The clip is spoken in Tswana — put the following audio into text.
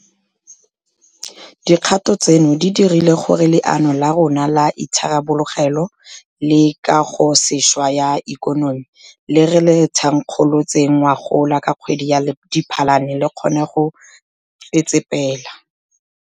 Dikgato tseno di dirile gore Leano la rona la Itharabologelo le Kagosešwa ya Ikonomi le re le thankgolotseng ngogola ka kgwedi ya Diphalane le kgone go tsetsepela.